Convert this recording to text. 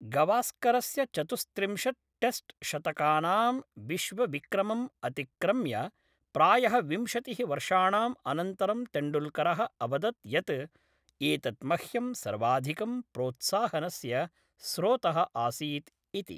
गवास्करस्य चतुस्त्रिंशत् टेस्ट् शतकानां विश्वविक्रमम् अतिक्रम्य प्रायः विंशतिः वर्षाणाम् अनन्तरं तेण्डुल्करः अवदत् यत्, एतत् मह्यं सर्वाधिकं प्रोत्साहनस्य स्रोतः आसीत् इति।